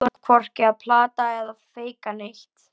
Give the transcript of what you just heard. Þú ert hvorki að plata eða feika neitt.